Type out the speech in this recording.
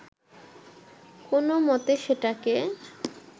কোনমতে সেটাকে